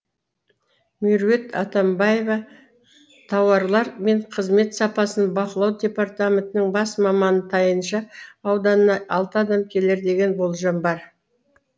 меруерт атамбаева тауарлар мен қызмет сапасын бақылау департаментінің бас маманы тайынша ауданына алты адам келеді деген болжам бар